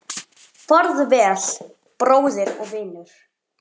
Farðu vel, bróðir og vinur.